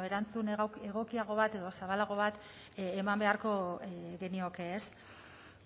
erantzun egokiago bat edo zabalago bat eman beharko genioke ez